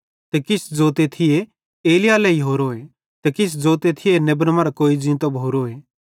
ते किछ ज़ोते थिये एलिय्याह लेइहोरोए ते किछ ज़ोते थिये नेबन मरां कोई ज़ींतो भोरोए